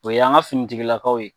O y'an ka finitigilakaw ye.